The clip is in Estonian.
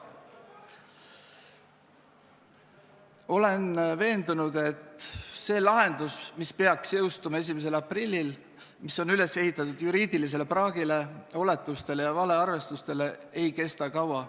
Olen veendunud, et see lahendus, mis peaks jõustuma 1. aprillil, on üles ehitatud juriidilisele praagile, oletustele ja valearvestustele ega kestaks kaua.